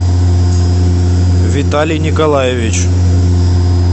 виталий николаевич